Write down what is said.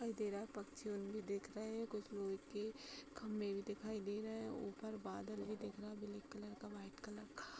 दिखाई दे रहा है। पंछी उन दिख रहे हैं। खंभे भी दिखाई दे रहे हैं। ऊपर बादल भी दिख रहा है ब्लैक कलर का व्हाइट कलर का ।